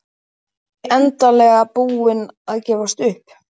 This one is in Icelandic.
Þau endanlega búin að gefast upp.